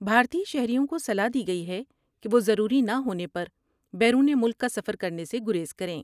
بھارتی شہریوں کو صلاح دی گئی ہے کہ وہ ضروری نہ ہونے پر بیرون ملک کا سفر کرنے سے گریز کریں ۔